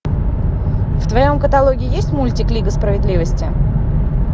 в твоем каталоге есть мультик лига справедливости